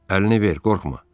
Əlini ver, qorxma.